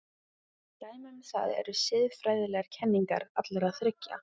Dæmi um það eru siðfræðilegar kenningar allra þriggja.